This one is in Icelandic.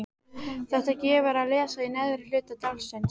Þetta gefur að lesa í neðra hluta dálksins